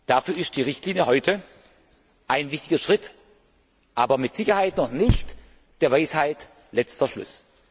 Dafür ist heute die Richtlinie ein wichtiger Schritt, aber mit Sicherheit noch nicht der Weisheit letzter Schluss.